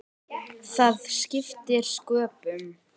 Það skiptir sköpum.